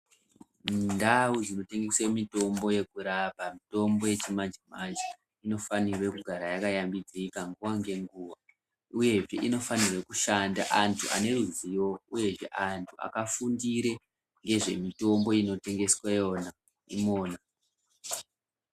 Ndau inotengeswe mitombo yekurapa, mitombo yechimanje-manje, inofanirwe kugara yakayambidzika nguwa ngenguwa, uyehe inofanirwe kushanda antu ane ruzivo, uyezve antu akafundire ngezvemitombo inotengesweyo i...